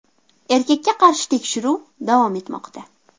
Erkakka qarshi tekshiruv davom etmoqda.